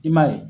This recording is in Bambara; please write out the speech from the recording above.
I m'a ye